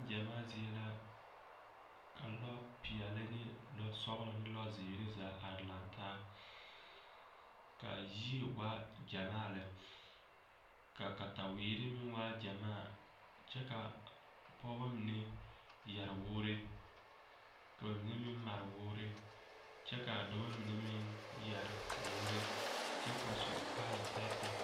Neŋgyamaa zie la ka lɔpeɛle ne lɔsɔglɔ ne lɔzeere zaa laŋ taa ka a yie waa gyamaa lɛ ka kataweere meŋ waa yaga kyɛ ka pɔgeba mine yɛre wɔɔre ka ba mine meŋ mare wɔɔre kyɛ ka a dɔbɔ mine meŋ yɛre wɔɔre kyɛ ka ba su kaaya tɛɛtɛɛ.